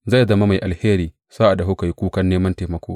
Zai zama mai alheri sa’ad da kuka yi kukan neman taimako!